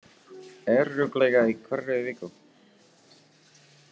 Örugglega í hverri viku.